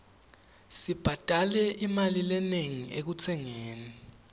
sibhadale imali lenengi ekutsengeni